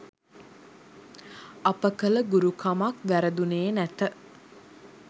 අප කළ ගුරුකමක් වැරදුනේ නැත.